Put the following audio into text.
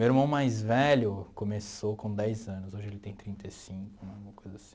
Meu irmão mais velho começou com dez anos, hoje ele tem trinta e cinco, alguma coisa assim.